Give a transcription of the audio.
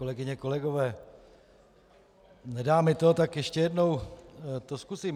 Kolegyně, kolegové, nedá mi to, tak ještě jednou to zkusím.